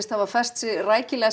hafa fest sig rækilega